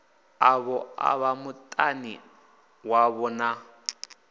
ḽavho ḽa vhamutani wavho na